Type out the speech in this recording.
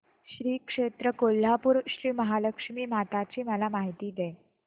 श्री क्षेत्र कोल्हापूर श्रीमहालक्ष्मी माता ची मला माहिती दे